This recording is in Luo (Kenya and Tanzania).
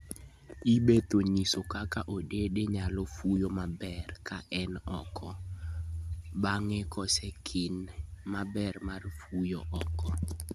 E bathe Onyiso kaka odede nyalo fuyo maber ka en oko, bange kosekine ber mar fuyo oko